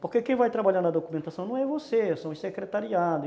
Porque quem vai trabalhar na documentação não é você, são os secretariados.